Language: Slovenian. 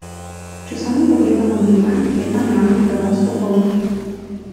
Če samo pogledamo Dunaj, je tam javni prevoz popoln.